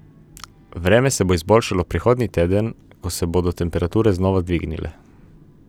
Vreme se bo izboljšalo prihodnji teden, ko se bodo temperature znova dvignile.